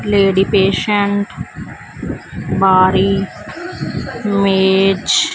lady patient ਬਾਰੀ ਮੇਚ--